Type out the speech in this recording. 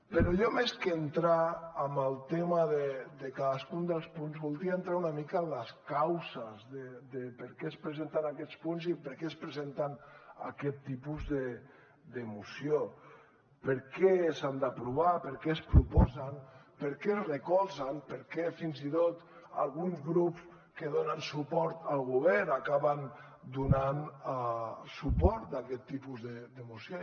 però jo més que entrar en el tema de cadascun dels punts voldria entrar una mica en les causes de per què ens presenten aquests punts i per què ens presenten aquest tipus de moció per què s’han d’aprovar per què es proposen per què es recolzen per què fins i tot alguns grups que donen suport al govern acaben donant suport a aquest tipus de moció